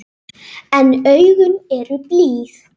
En augun eru blíð.